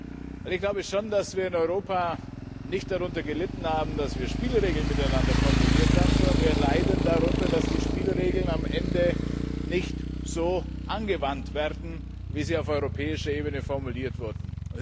Weil ich schon glaube, dass wir in Europa nicht darunter gelitten haben, dass wir Spielregeln miteinander formuliert haben, sondern wir leiden darunter, dass die Spielregeln am Ende nicht so angewandt werden, wie sie auf europäischer Ebene formuliert wurden.